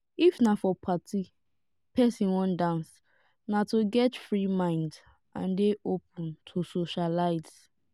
if na for party person wan dance na to get free mind and dey open to socialize